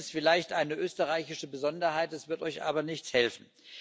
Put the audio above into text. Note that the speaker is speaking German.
Das ist vielleicht eine österreichische Besonderheit, es wird euch aber nichts helfen.